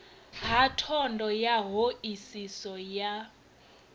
ha thondo ya hoisiso ya